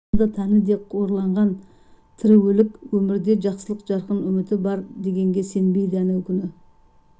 жаны да тәні де қорланған тірі өлік өмірде жақсылық жарқын үміті бар дегенге сенбейді әнеукүні